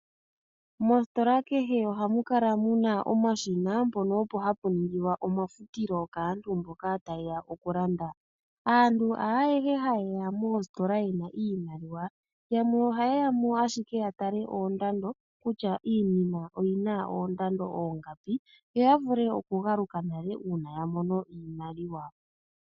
Mositola kehe ohamu kala muna omashina mpono opo hapu ningilwa omafutilo kaantu mboka taye ya okulanda. Aantu haayehe hayeya moositola yena iimaliwa, yamwe ohaye ya mo ashike ya tale oondando kutya iinima oyina oondando oongapi yo ya vule okugaluka nale uuna ya mono iimaliwa.